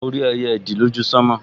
Mo rí ẹyẹ ìdì lójú sánmọ̀